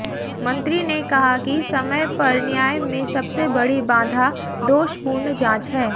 मंत्री ने कहा कि समय पर न्याय में सबसे बड़ी बाधा दोषपूर्ण जांच है